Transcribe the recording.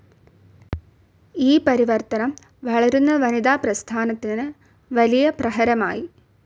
ഈ പരിവർത്തനം വളരുന്ന വനിതാ പ്രസ്ഥാനത്തിന് വലിയ പ്രഹരമായി.